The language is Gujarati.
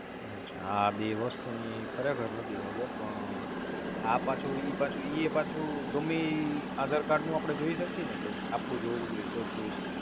અચ્છા આ બે વસ્તુની ખરેખર નોતી ખબર પણ આ પાછું ઈ પાછું ઈ પાછું ગમે ઈ Aadhar card નું જોઈ શકીયે ને કે આપણું જ હોવું નજોયે તોજ જોય શકીયે